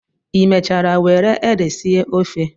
Ị mechara were ede sie ofe?